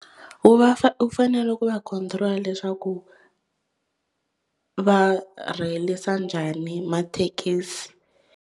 Wu va fa wu fanele ku va control leswaku va rheyilisa njhani mathekisi.